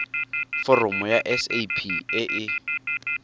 foromo ya sap e e